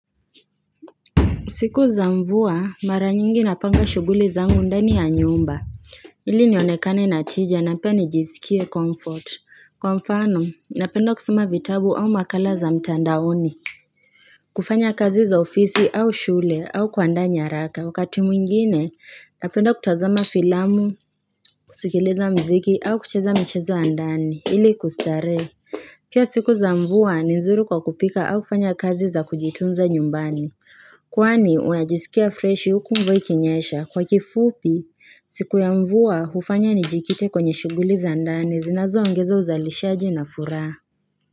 Siku za mvua mara nyingi napanga shughuli zangu ndani ya nyumba ili nionekane na tija na pia nijisikie comfort kwa mfano napenda kusoma vitabu au makala za mtandaoni kufanya kazi za ofisi au shule au kuandaa nyaraka, wakati mwingine napenda kutazama filamu, kusikiliza muziki au kucheza michezo wa ndani ili kustarehe Pia siku za mvua ni nzuri kwa kupika au kufanya kazi za kujitunza nyumbani Kwani unajisikia freshi huku mvua ikinyesha, kwa kifupi siku ya mvua hufanya nijikite kwenye shughuli za ndani zinazoongeza uzalishaji na furaha.